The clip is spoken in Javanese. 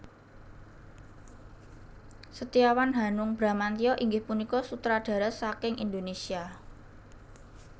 Setiawan Hanung Bramantyo inggih punika sutradara saking Indonésia